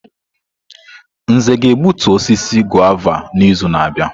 Nze ga-egbutu osisi guava n'izu na-abịa.